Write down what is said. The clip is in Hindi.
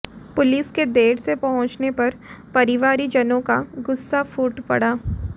पुलिस के देर से पहुंचने पर परिवारीजनों का गुस्सा फूट पड़ा